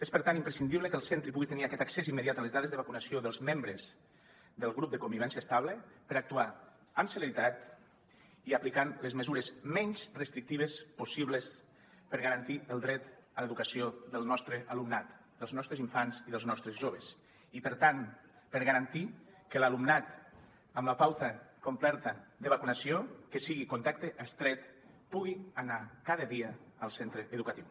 és per tant imprescindible que el centre pugui tenir aquest accés immediat a les dades de vacunació dels membres del grup de convivència estable per actuar amb celeritat i aplicant les mesures menys restrictives possibles per garantir el dret a l’educació del nostre alumnat dels nostres infants i dels nostres joves i per tant per garantir que l’alumnat amb la pauta completa de vacunació que sigui contacte estret pugui anar cada dia al centre educatiu